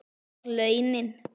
Og launin?